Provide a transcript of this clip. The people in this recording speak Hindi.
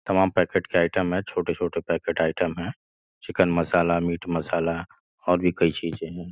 तमाम पैकेट के आइटम है छोटे-छोटे पैकेट आइटम हैं चिकन मसाला मीट मसाला और भी कई चीजें हैं।